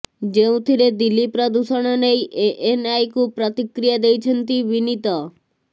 ଯେଉଁଥିରେ ଦିଲ୍ଲୀ ପ୍ରଦୂଷଣ ନେଇ ଏଏନଆଇକୁ ପ୍ରତିକ୍ରିୟା ଦେଇଛନ୍ତି ବିନୀତ